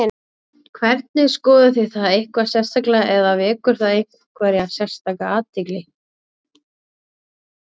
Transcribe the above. Hvernig, skoðuð þið það eitthvað sérstaklega eða vekur það einhverja sérstaka athygli?